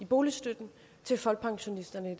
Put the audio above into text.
boligstøtten til folkepensionisterne i